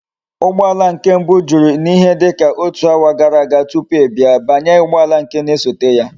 Ugboala nke mbu juru na ihe dika otu hour gara aga tupu i bia, banye ugboala nke na esote ya!